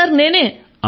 అవును సర్ నేనే